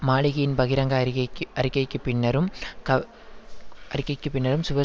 மாலிகியின் பகிரங்க அறிகைக்கு அறிக்கைக்கு பின்னரும் கவ அறிக்கைக்கு பின்னரும் சுவர்